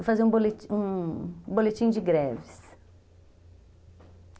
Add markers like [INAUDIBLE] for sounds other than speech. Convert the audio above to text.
Eu fazia um [UNINTELLIGIBLE] um boletim de greves.